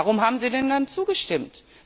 Warum haben Sie denn dann zugestimmt?